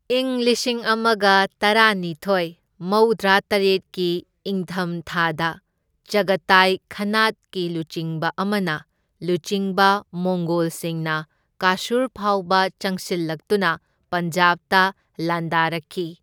ꯏꯪ ꯂꯤꯁꯤꯡ ꯑꯃꯒ ꯇꯔꯥꯅꯤꯊꯣꯢ ꯃꯧꯗ꯭ꯔꯥꯇꯔꯦꯠꯀꯤ ꯢꯪꯊꯝ ꯊꯥꯗ, ꯆꯒꯇꯥꯏ ꯈꯥꯅꯥꯠꯀꯤ ꯂꯨꯆꯤꯡꯕ ꯑꯃꯅ ꯂꯨꯆꯤꯡꯕ ꯃꯣꯡꯒꯣꯜꯁꯤꯡꯅ ꯀꯥꯁꯨꯔ ꯐꯥꯎꯕ ꯆꯪꯁꯤꯜꯂꯛꯇꯨꯅ ꯄꯟꯖꯥꯕꯇ ꯂꯥꯟꯗꯥꯔꯛꯈꯤ꯫